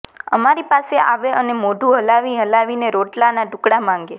અમારી પાસે આવે અને મોઢું હલાવી હલાવીને રોટલાના ટુકડા માંગે